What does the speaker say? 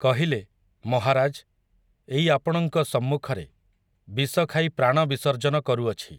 କହିଲେ, 'ମହାରାଜ୍, ଏଇ ଆପଣଙ୍କ ସମ୍ମୁଖରେ, ବିଷଖାଇ ପ୍ରାଣ ବିସର୍ଜନ କରୁଅଛି।